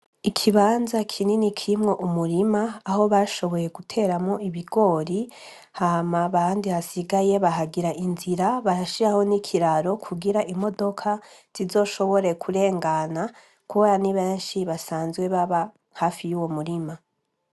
Ikibanza kinini kimwo umurima aho bashoboye guteramo ibigori hama bandi hasigaye bahagira inzira bahashiraho n'ikiraro kugira imodoka zizoshobore kurengana kubara ni benshi basanzwe baba hafi y'uwo murima.